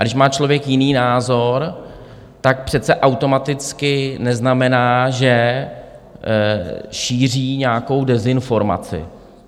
A když má člověk jiný názor, tak přece automaticky neznamená, že šíří nějakou dezinformaci.